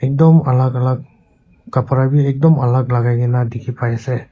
dom alak alak kapra b ekdom alak lagai gina dikhi pai ase.